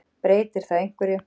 Breytir það einhverju?